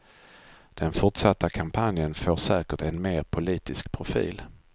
Den fortsatta kampanjen får säkert en mer politisk profil.